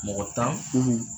Mɔgɔ tan,